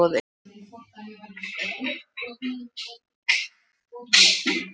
Spænskt nautaat er mjög formföst athöfn sem á sér ríka hefð.